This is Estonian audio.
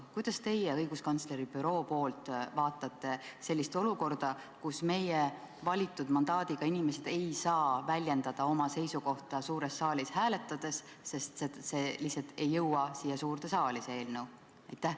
Kuidas teie õiguskantsleri büroo poolt vaadates suhtute sellisesse olukorda, kus meie, valitud mandaadiga inimesed, ei saa väljendada oma seisukohta suures saalis hääletades, sest see eelnõu lihtsalt ei jõua suurde saali?